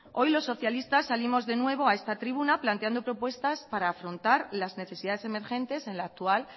hoy los socialistas salimos de nuevo a esta tribuna planteando propuestas para afrontar las necesidades emergentes en la actual